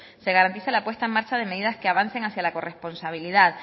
se garantice la puesta en marcha de medidas que avancen hacia la corresponsabilidad